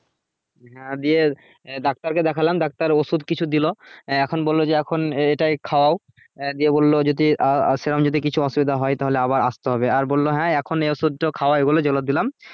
হ্যাঁ দিয়ে ডাক্তার কে দেখলাম ডাক্তার ওষুধ কিছু দিলো এখন বললো যে এখন এইটাই খাওয়াও দিয়ে বললো যদি আহ আহ সেরকম যদি কিছু অসুবিধা হয়ে তাহলে আবার আসতে হবে আর বললো হ্যাঁ এখন এই ওষুধগুলো খাওয়াই যেগুলো দিলাম